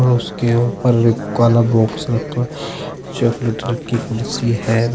और उसके ऊपर काला बॉक्स रखा हुआ चॉकलेट रंग की कुर्सी है।